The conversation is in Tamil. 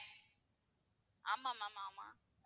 ஆமா ma'am ஆமா